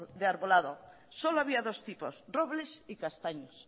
de arbolado solo había dos tipos robles y castaños